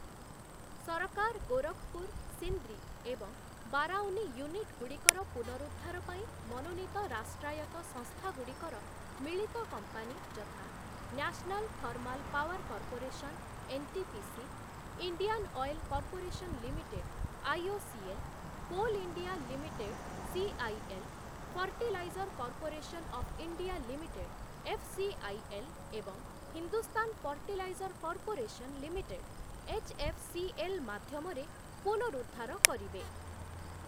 ସରକାର ଗୋରଖପୁର, ସିନ୍ଦ୍ରି ଏବଂ ବାରାଉନି ୟୁନିଟଗୁଡ଼ିକର ପୁନରୁଦ୍ଧାର ପାଇଁ ମନୋନୀତ ରାଷ୍ଟ୍ରାୟତ ସଂସ୍ଥାଗୁଡ଼ିକର ମିଳିତ କମ୍ପାନୀ ଯଥା National Thermal Power Corporation NTPC, Indian Oil Corporation Limited IOCL, Coal India Limited CIL, Fertilizer Corporation of India Limited FCIL ଏବଂ Hindustan Fertilizer Corporation Limited HFCL ମାଧ୍ୟମରେ ପୁନରୁଦ୍ଧାର କରିବେ ।